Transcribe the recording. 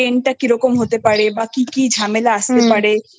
End টা কিরকম হতে পারে বা কি কি ঝামেলা আস্তে